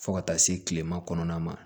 Fo ka taa se kilema kɔnɔna ma